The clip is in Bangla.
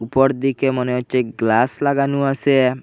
উপর দিকে মনে হচ্চে গ্লাস লাগানো আসে।